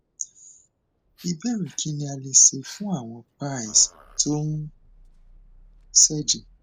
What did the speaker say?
ìbéèrè kí ni a lè ṣe fún àwọn piles tó ń sejẹ